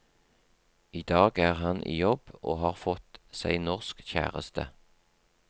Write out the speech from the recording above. I dag er han i jobb og har fått seg norsk kjæreste.